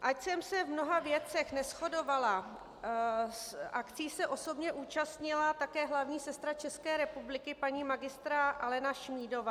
Ač jsem se v mnoha věcech neshodovala, akcí se osobně účastnila také hlavní sestra České republiky paní magistra Alena Šmídová.